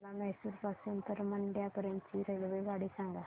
मला म्हैसूर पासून तर मंड्या पर्यंत ची रेल्वेगाडी सांगा